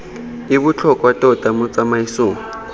e botlhokwa tota mo tsamaisong